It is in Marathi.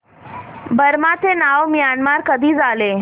बर्मा चे नाव म्यानमार कधी झाले